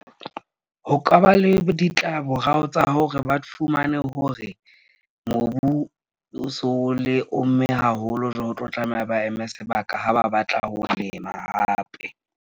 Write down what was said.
Ho ka ba le ditlamorao tsa hore ba fumane hore mobu o so le omme haholo , o tlo tlameha ba eme sebaka ha ba batla ho lema hape.